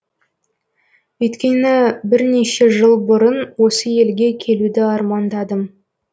өйткені бірнеше жыл бұрын осы елге келуді армандадым